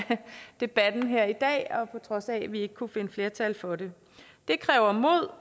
debatten her i dag og på trods af at vi ikke kunne finde flertal for det det kræver mod